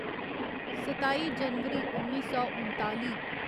सताई जनवरी उन्नी सौ उनताली